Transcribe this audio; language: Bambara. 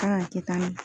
Kan ka kɛ tan ne